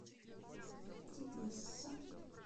тебесса